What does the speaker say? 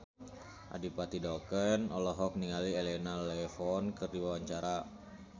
Adipati Dolken olohok ningali Elena Levon keur diwawancara